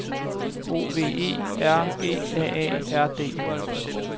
O V E R G A A R D